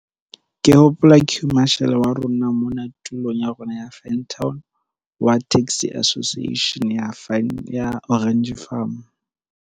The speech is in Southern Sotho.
Ke hopola queue marshal wa rona mona tulong ya rona ya Van town wa taxi association ya Orange Farm.